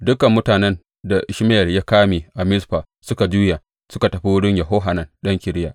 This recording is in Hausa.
Dukan mutanen da Ishmayel ya kame a Mizfa suka juya, suka tafi wurin Yohanan ɗan Kareya.